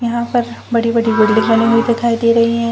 यहाँ पर बड़ी-बड़ी बिल्डिंग बनी हुई दिखाई दे रहीं हैं।